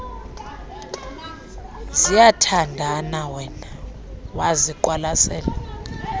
ziyathandana wema waziqwalasela